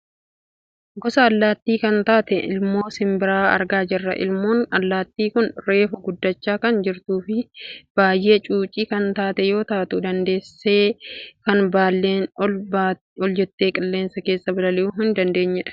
Gosa allaattii kan taate ilmoo simbiraa argaa jirra. Ilmoon allaattii kun reefu guddachaa kan jirtuufi baayyee cuucii kan taate yoo taatu dandeessee kan baalleen ol jettee qilleensa keessa balali'uu hin dandeenyedha.